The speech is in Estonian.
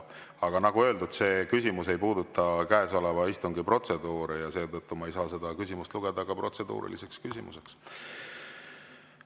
Aga nagu öeldud, see küsimus ei puuduta käesoleva istungi protseduure ja seetõttu ma ei saa seda küsimust lugeda ka protseduuriliseks küsimuseks.